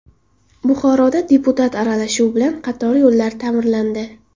Buxoroda deputat aralashuvi bilan qator yo‘llar ta’mirlandi.